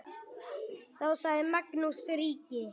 Sagði þá Magnús ríki: